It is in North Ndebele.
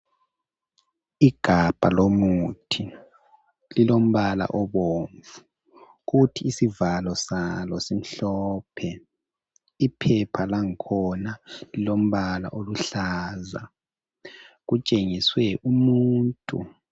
Igabha lomuthi lilombala obomvu kuthi isivalo salo simhlophe iphepha langakhona lilombala oluhlaza. Kutshengiswe umuntu.